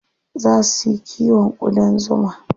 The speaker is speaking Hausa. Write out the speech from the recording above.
Zaa su yi kiwon ƙudan zuma.